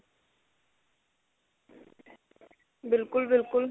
ਬਿਲਕੁਲ ਬਿਲਕੁਲ